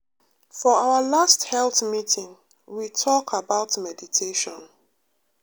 for our last health meeting we talk about meditation.